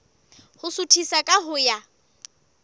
ho suthisa ka ho ya